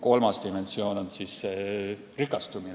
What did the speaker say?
Kolmas dimensioon on rikastumine.